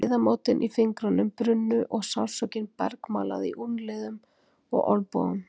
Liðamótin í fingrunum brunnu og sársaukinn bergmálaði í úlnliðum og olnbogum.